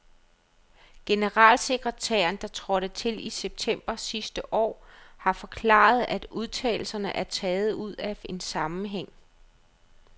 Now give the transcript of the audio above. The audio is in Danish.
Generalsekretæren, der trådte til i september sidste år, har forklaret, at udtalelserne er taget ud af en sammenhæng.